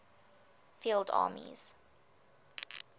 field armies